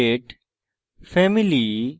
physical state